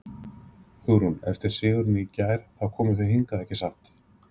Hugrún: Eftir sigurinn í gær, þá komuð þið hingað, ekki satt?